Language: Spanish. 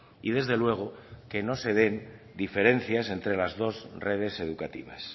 y desde luego que no se den diferencias entre las dos redes educativas